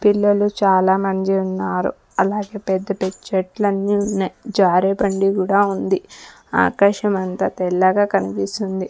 పిల్లలు చాలా మంది ఉన్నారు అలాగే పెద్ద పెద్ద చెట్లని ఉన్నాయి జారే బండి కూడా ఉంది ఆకాశమంత తెల్లగా కనిపిస్తుంది.